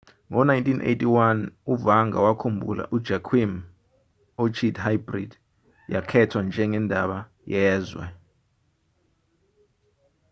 ngo-1981 uvanda wakhumbula ujoaquim iorchid hybrid yakhethwa njengendaba yezwe